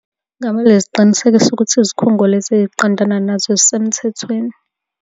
Kungamele ebe nesiqiniseko sokuthi izikhungo lezi ey'qondana nazo zisemthethweni.